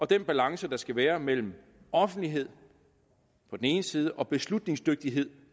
den balance der skal være mellem offentlighed på den ene side og beslutningsdygtighed